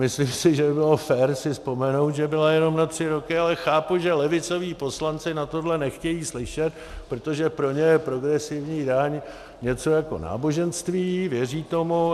Myslím si, že by bylo fér si vzpomenout, že byla jenom na tři roky, ale chápu, že levicoví poslanci na tohle nechtějí slyšet, protože pro ně je progresivní daň něco jako náboženství, věří tomu.